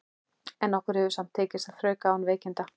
En okkur hefur samt tekist að þrauka án veikinda.